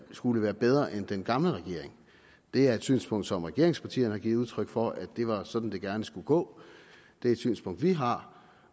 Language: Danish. skulle være bedre end den gamle regering det er et synspunkt som regeringspartierne har givet udtryk for det var sådan det gerne skulle gå det er et synspunkt vi har